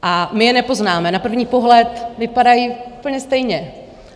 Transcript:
A my je nepoznáme, na první pohled vypadají úplně stejně.